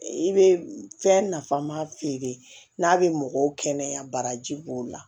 I bɛ fɛn nafama feere n'a bɛ mɔgɔw kɛnɛya baraji b'o la